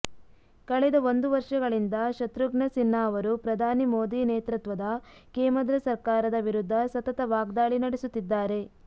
ಕಳೆದ ಒಂದು ವರ್ಷಗಳಿಂದ ಶತ್ರುಘ್ನ ಸಿನ್ಹಾ ಅವರು ಪ್ರಧಾನಿ ಮೋದಿ ನೇತೃತ್ವದ ಕೇಮದ್ರ ಸರ್ಕಾರದ ವಿರುದ್ಧ ಸತತ ವಾಗ್ದಾಳಿ ನಡೆಸುತ್ತಿದ್ದಾರೆ